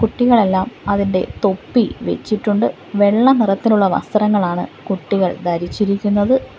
കുട്ടികളെല്ലാം അവരുടെ തൊപ്പി വെച്ചിട്ടുണ്ട് വെള്ള നിറത്തിലുള്ള വസ്ത്രങ്ങളാണ് കുട്ടികൾ ധരിച്ചിരിക്കുന്നത്.